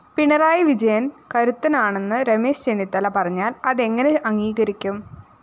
പിണറായി വിജയന്‍ കരുത്തനാണെന്ന് രമേശ് ചെന്നിത്തല പറഞ്ഞാല്‍ അതെങ്ങനെ അംഗീകരിക്കും